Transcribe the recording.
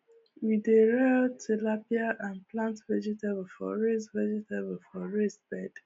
we dey rear tilapia and plant vegetable for raised vegetable for raised bed